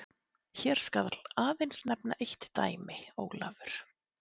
Hér skal aðeins nefnt eitt dæmi: Ólafur